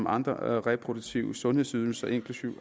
andre reproduktive sundhedsydelser inklusiv